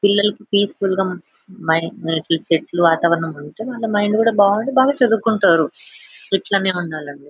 పిల్లలకి పీస్ఫుల్ చెట్లు వాతావరణం వాళ్ళ మైండ్ కూడా బాగుంటే బాగా చదువుకుంటారు. గిట్లనే ఉండాలని--